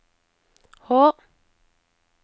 H